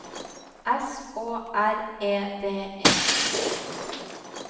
S Å R E D E